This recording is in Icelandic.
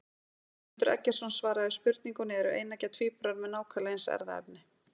Guðmundur Eggertsson svaraði spurningunni Eru eineggja tvíburar með nákvæmlega eins erfðaefni?